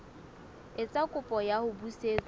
etsa kopo ya ho busetswa